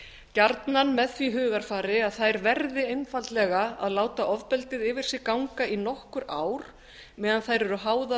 gjarnan með því hugarfari að þær verði einfaldlega að láta ofbeldið yfir sig ganga í nokkur ár meðan þær eru háðar